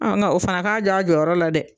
ŋa o fana k'a jɔ a jɔyɔrɔ la dɛ.